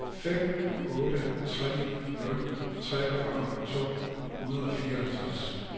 fem otte tre nul treogfyrre to hundrede og fireoghalvtreds